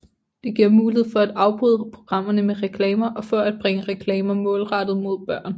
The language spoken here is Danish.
Det giver mulighed for at afbryde programmerne med reklamer og for at bringe reklamer målrettet mod børn